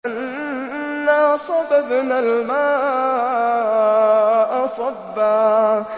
أَنَّا صَبَبْنَا الْمَاءَ صَبًّا